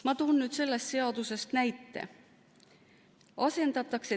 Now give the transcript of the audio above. Ma toon sellest seadusest näite.